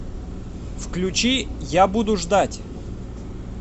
включи я буду ждать